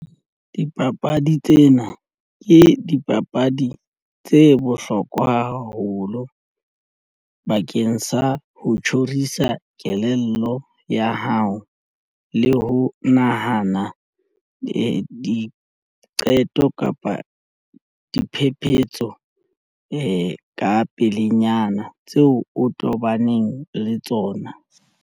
Dipapadi tsena ke dipapadi tse bohlokwa haholo bakeng sa ho tjhorisa kelello ya hao le ho nahana diqeto kapa diphephetso ka pelenyana tseo o tobaneng le tsona.